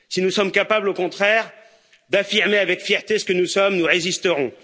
Si nous sommes capables, au contraire, d'affirmer avec fierté ce que nous sommes, nous résisterons.